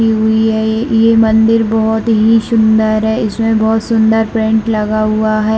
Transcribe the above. लगी हुई है ये मंदिर बहुत ही सुंदर है इसमें बहुत सुंदर पैंट लगा हुआ है।